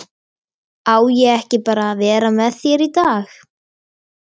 Á ég ekki bara að vera með þér í dag?